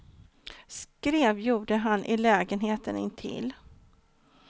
Skrev gjorde han i lägenheten intill.